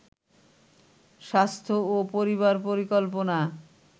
স্বাস্থ্য ও পরিবার পরিকল্পনা